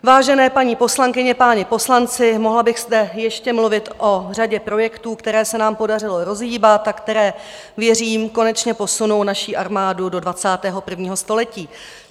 Vážené paní poslankyně, páni poslanci, mohla bych zde ještě mluvit o řadě projektů, které se nám podařilo rozhýbat a které, věřím, konečně posunou naši armádu do 21. století.